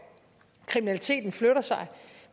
kriminaliteten flytter sig